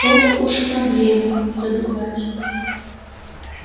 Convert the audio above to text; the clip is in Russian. вот уж проблема забывать